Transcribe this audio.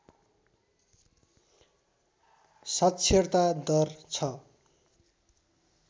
साक्षरता दर छ